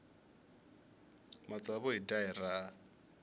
matsavu hi dya hi raha